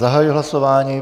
Zahajuji hlasování.